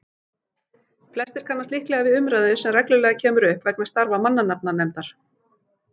Flestir kannast líklega við umræðu sem reglulega kemur upp vegna starfa mannanafnanefndar.